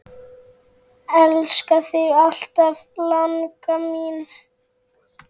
Elska þig alltaf, langa mín.